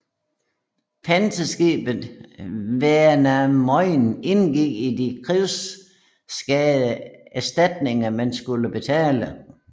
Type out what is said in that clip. Panserskibet Väinämöinen indgik i de krigsskadeerstatninger man skulle betale